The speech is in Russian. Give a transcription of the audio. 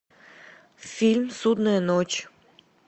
фильм судная ночь